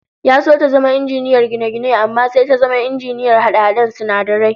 Ya so ta zama injiniyar gine-gine amma sai ta zama injiniyar hade-haden sinadarai